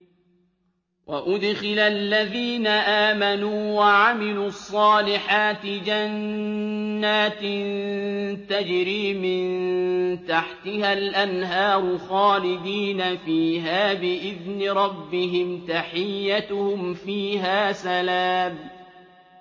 وَأُدْخِلَ الَّذِينَ آمَنُوا وَعَمِلُوا الصَّالِحَاتِ جَنَّاتٍ تَجْرِي مِن تَحْتِهَا الْأَنْهَارُ خَالِدِينَ فِيهَا بِإِذْنِ رَبِّهِمْ ۖ تَحِيَّتُهُمْ فِيهَا سَلَامٌ